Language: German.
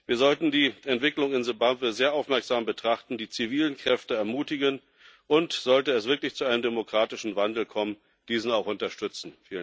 Wir sollten die Entwicklungen in Simbabwe sehr aufmerksam betrachten, die zivilen Kräfte ermutigen und, sollte es wirklich zu einem demokratischen Wandel kommen, diesen auch unterstützen.